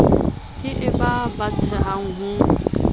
ke e ba batsehang o